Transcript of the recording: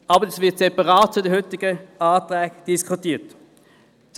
Dies wird aber separat von den heutigen Anträgen diskutiert werden.